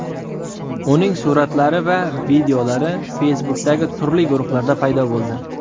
Uning suratlari va videolari Facebook’dagi turli guruhlarda paydo bo‘ldi .